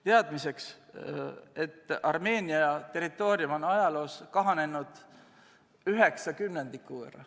Teadmiseks, et Armeenia territoorium on ajaloo jooksul kahanenud 9/10 võrra.